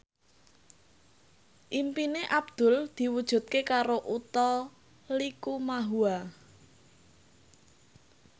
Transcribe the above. impine Abdul diwujudke karo Utha Likumahua